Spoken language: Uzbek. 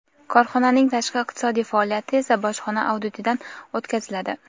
Korxonaning tashqi iqtisodiy faoliyati esa bojxona auditidan o‘tkaziladi.